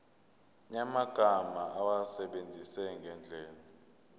yamagama awasebenzise ngendlela